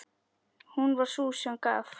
Hún var sú sem gaf.